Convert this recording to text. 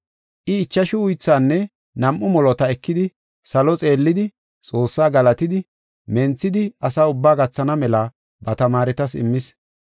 I ichashu uythaanne nam7u molota ekidi, salo xeellidi, Xoossaa galatidi, menthidi asaa ubbaa gathana mela ba tamaaretas immis.